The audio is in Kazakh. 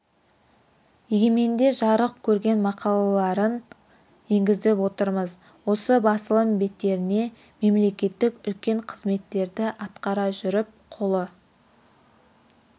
егеменде жарық көрген мақалаларын енгізіп отырмыз осы басылым беттеріне мемлекеттік үлкен қызметтерді атқара жүріп қолы